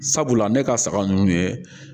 Sabula ne ka saga ninnu ye